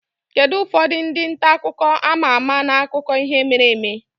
Kedu ụfọdụ ndị nta akụkọ a ma ama n'akụkọ ihe mere eme?